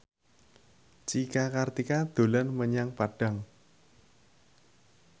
Cika Kartika dolan menyang Padang